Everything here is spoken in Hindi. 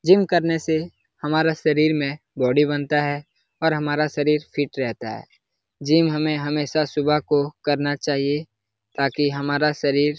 जिम करने से हमारा शरीर में बॉडी बनता है और हमारा शरीर फिट रहता है। जिम हमे हमेशा सुबह को करना चाहिए ताकि हमारा शरीर --